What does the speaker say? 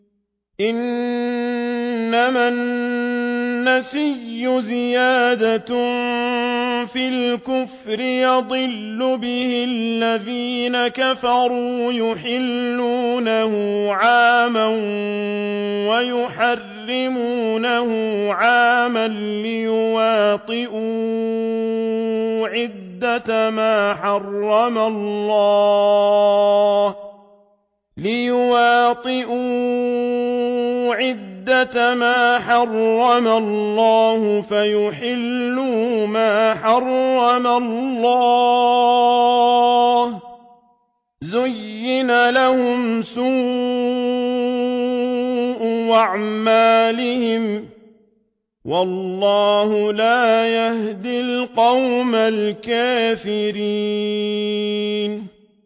إِنَّمَا النَّسِيءُ زِيَادَةٌ فِي الْكُفْرِ ۖ يُضَلُّ بِهِ الَّذِينَ كَفَرُوا يُحِلُّونَهُ عَامًا وَيُحَرِّمُونَهُ عَامًا لِّيُوَاطِئُوا عِدَّةَ مَا حَرَّمَ اللَّهُ فَيُحِلُّوا مَا حَرَّمَ اللَّهُ ۚ زُيِّنَ لَهُمْ سُوءُ أَعْمَالِهِمْ ۗ وَاللَّهُ لَا يَهْدِي الْقَوْمَ الْكَافِرِينَ